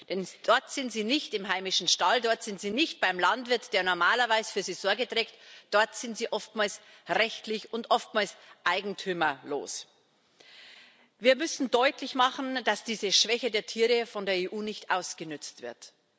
Denn dort sind sie nicht im heimischen Stall, dort sind sie nicht beim Landwirt, der normalerweise für sie Sorge trägt, dort sind sie oftmals rechtlos und oftmals eigentümerlos. Wir müssen deutlich machen, dass diese Schwäche der Tiere von der EU nicht ausgenutzt wird.